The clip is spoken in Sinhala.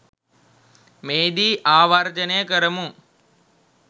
මෙහිදී ආවර්ජනය කරමු